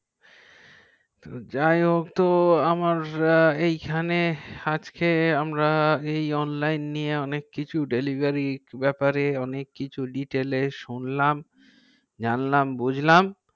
যা অত আমরা এই খানে আজকে আমরা এই অনলাইন নিয়ে অনেক কিছু delivery ব্যাপার এ detail অনেককিছু শুনলাম জানলাম বুজলাম